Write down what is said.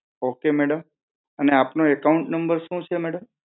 okay madam અને આપનો account number સુ છે madam?